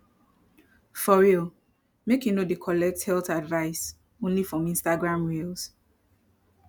for real make you no dey collect health advice only from instagram reels